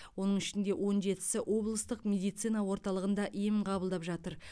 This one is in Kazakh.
оның ішінде он жетісі облыстық медицина орталығында ем қабылдап жатыр